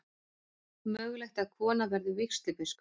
Mögulegt að kona verði vígslubiskup